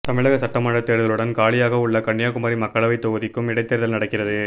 தமிழக சட்டமன்ற தேர்தலுடன் காலியாக உள்ள கன்னியாகுமரி மக்களவை தொகுதிக்கும் இடைத்தேர்தல் நடக்கிறது